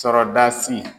Sɔrɔdasi